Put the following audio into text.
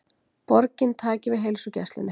Borgin taki við heilsugæslunni